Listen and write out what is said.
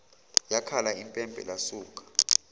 yakhala impempe lasuka